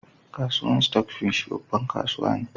Kasuwan stock, babban kasuwa ne.